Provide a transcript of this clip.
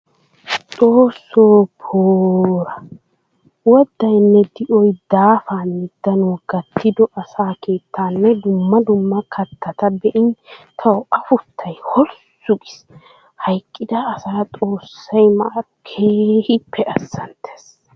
Xoosso poora! Woddayinne di'oy daafanne danuwa gatiddo asaa keettanne dumma dumma kattata be'in tawu afuttay holssu giis! Hayqqidda asaa xoosay maaro keehippe azanttes!